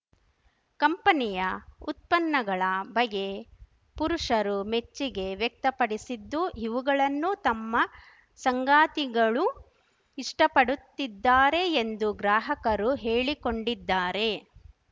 ಕಂಪನಿಯ ಉತ್ಪನ್ನಗಳ ಬಗ್ಗೆ ಪುರುಷರೂ ಮೆಚ್ಚುಗೆ ವ್ಯಕ್ತಪಡಿಸಿದ್ದು ಇವುಗಳನ್ನು ತಮ್ಮ ಸಂಗಾತಿಗಳೂ ಇಷ್ಟಪಡುತ್ತಿದ್ದಾರೆ ಎಂದು ಗ್ರಾಹಕರು ಹೇಳಿಕೊಂಡಿದ್ದಾರೆ